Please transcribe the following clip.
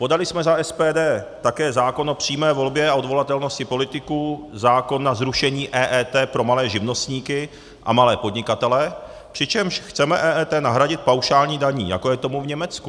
Podali jsme za SPD také zákon o přímé volbě a odvolatelnosti politiků, zákon na zrušení EET pro malé živnostníky a malé podnikatele, přičemž chceme EET nahradit paušální daní, jako je tomu v Německu.